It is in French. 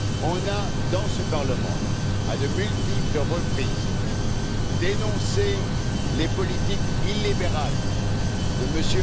On a dans ce Parlement, à de multiples reprises, dénoncé les politiques illibérales de M.